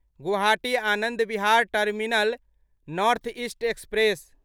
Guwahati Anand Vihar terminal north east express